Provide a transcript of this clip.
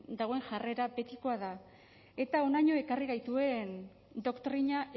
dagoen jarrera betikoa da eta honaino ekarri gaituen doktrina